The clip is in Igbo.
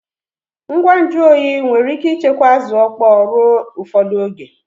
Ngwa nju oyi nwere ike ichekwa Azu okpo ruo ufodu oge